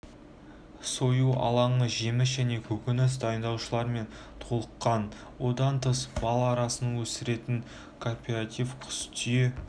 сою алаңы жеміс және көкөніс дайындаушылармен толыққан одан тыс бал арасын өсіретін кооператив құс түйе